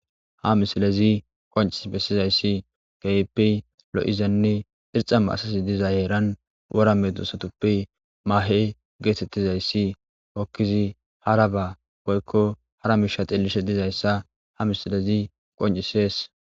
Ha misilezi qonc'isi besizaysi kehippe lo'izaysanne irxidi mattati diza heran wora medosatuppe mahey gettetizaysi hokidi haraba woykon hara misha xelishe dizaysa ha misilezi qonc'ises.